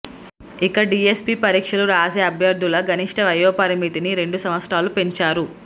ఇక డీఎస్సీ పరీక్ష రాసే అభ్యర్థుల గరిష్ఠ వయోపరిమితిని రెండు సంవత్సరాలు పెంచారు